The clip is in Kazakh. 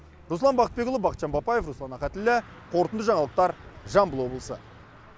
руслан бақытбекұлы бақытжан бапаев руслан ахатіллә қорытынды жаңалықтар жамбыл облысы